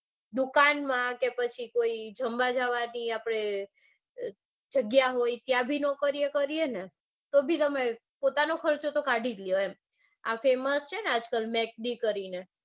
દુકાન માં કે પછી કોઈ જમવા જાવાની આપડે જગ્યા હોય ત્યાં બી નોકરીઓ કરિયેને તો બી પોતાનો ખર્ચો તો કાઢી જ લો આ famous છે ને આજકાલ mac d કરીને